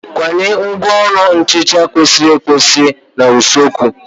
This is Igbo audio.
Kwanye ngwaọrụ nhicha kwesịrị ekwesị n'usekwu.